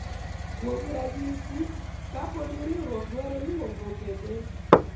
kuom ranyisi ,kapo ni riwruok dwaro luwo gope ne